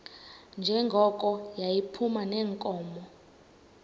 njengoko yayiphuma neenkomo